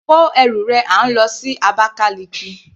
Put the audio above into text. Kó ẹrù rẹ à ń lọ sí Abakaliki.